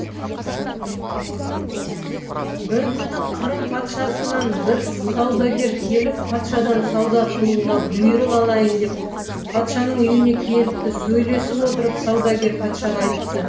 бір күні қырым патшасынан бір саудагер келіп патшадан сауда қылуға бұйрық алайын деп патшаның үйіне келіпті сөйлесіп отырып саудагер патшаға айтты